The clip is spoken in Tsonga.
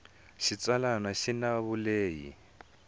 xitsalwana xi na vulehi lebyi